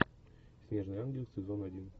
снежный ангел сезон один